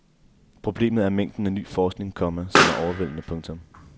Problemet er mængden af ny forskning, komma som er overvældende. punktum